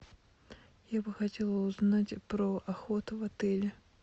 я бы хотела узнать про охоту в отеле